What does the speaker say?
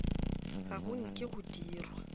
ga go nke go dirwa